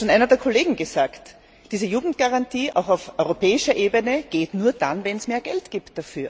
Aber das hat schon einer der Kollegen gesagt diese Jugendgarantie auch auf europäischer Ebene geht nur dann, wenn es dafür mehr Geld gibt.